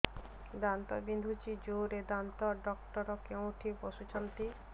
ଦାନ୍ତ ବିନ୍ଧୁଛି ଜୋରରେ ଦାନ୍ତ ଡକ୍ଟର କୋଉଠି ବସୁଛନ୍ତି